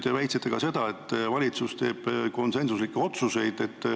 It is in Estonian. Te väitsite, et valitsus teeb konsensuslikke otsuseid.